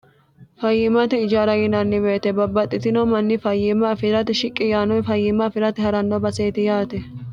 fayyimmate ijaarat yinanni weete babbaxxitino manni fayyiimma afiirate shiqqi yaannowi fayyimma afirate haranno baseeti yaate